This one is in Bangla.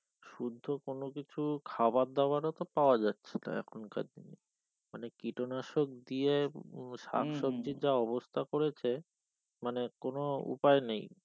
শুদ্ধ কোন কিছু খাওয়া দাওয়া পাওয়া তো যাচ্ছে না এখন কার দিনে মানে কীটনাশক দিয়ে যা অবস্থা করেছে শাকসব্জি তে যা অবস্থা করেছে মানে কোন উপায় নেই